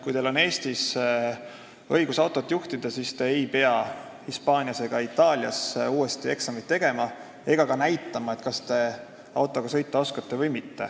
Kui teil on Eestis õigus autot juhtida, siis te ei pea Hispaanias ega Itaalias uuesti eksamit tegema ega näitama, et te autot juhtida oskate.